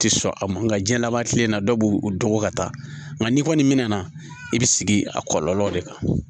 Tɛ sɔn a ma nga jiyɛnlaba tile na dɔ b'u dɔn ko ka taa nka n'i kɔni mɛna i bɛ sigi a kɔlɔlɔw de kan